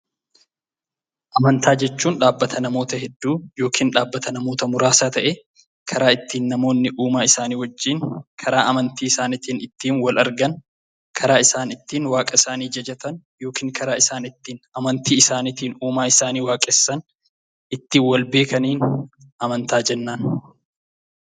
Amantaa jechuun dhaabbata namoota hedduu yookiin muraasaa ta'ee karaa ittiin namoonni Uumaa isaanii amantii wal argan, karaa isaan ittiin waaqa isaanii jajatanii fi ittiin wal beekan amantaa jenna.